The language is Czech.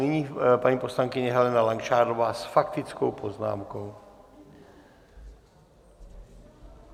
Nyní paní poslankyně Helena Langšádlová s faktickou poznámkou.